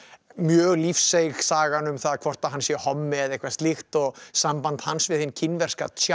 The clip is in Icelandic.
mjög lífseig sagan um það hvort hann sé hommi eða eitthvað slíkt og samband hans við hinn kínverska